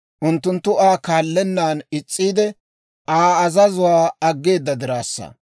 Unttunttu Aa kaallennaan is's'iide, Aa azazuwaakka aggeeda dirassa.